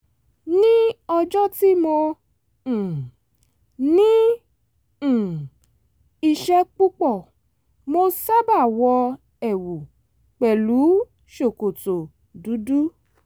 ní ọjọ́ tí mo um ní um iṣẹ́ púpọ̀ mo sábà wọ ẹ̀wù pẹ̀lú ṣòkòtò dúdú